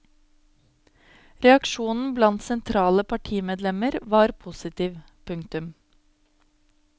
Reaksjonen blant sentrale partimedlemmer var positiv. punktum